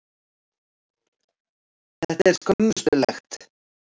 Þetta er skömmustulegt.